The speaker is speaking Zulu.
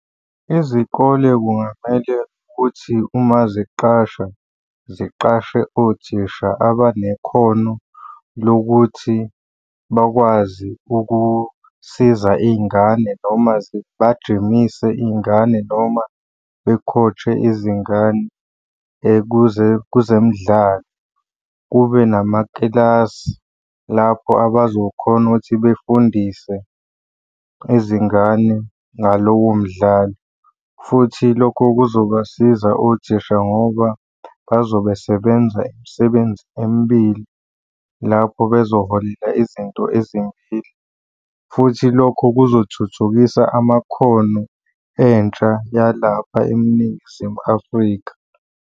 Izikole kungamele ukuthi uma ziqasha, ziqashe othisha abanekhono lokuthi bakwazi ukusiza iy'ngane noma zibajimise iy'ngane noma be-coach-e izingane kuzemidlalo. Kube namakilasi lapho abazokhona ukuthi befundise izingane ngalowo mdlalo futhi lokho kuzobasiza othisha ngoba bazobe sebenza imisebenzi emibili, lapho bezoholela izinto ezimbili, futhi lokho kuzothuthukisa amakhono entsha yalapha eNingizimu Afrika.